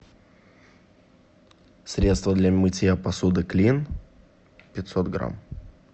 средство для мытья посуды клин пятьсот грамм